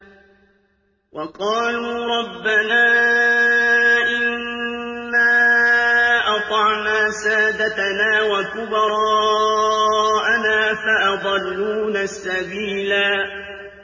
وَقَالُوا رَبَّنَا إِنَّا أَطَعْنَا سَادَتَنَا وَكُبَرَاءَنَا فَأَضَلُّونَا السَّبِيلَا